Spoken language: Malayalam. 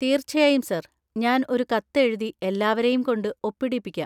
തീർച്ചയായും സർ, ഞാൻ ഒരു കത്ത് എഴുതി എല്ലാവരെയും കൊണ്ട് ഒപ്പിടിപ്പിക്കാം.